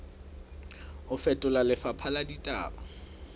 ho fetola lefapha la ditaba